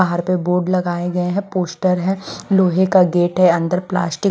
बाहर पे बोर्ड लगाए गए हैं पोस्टर है लोहे का गेट है अंदर प्लास्टिक --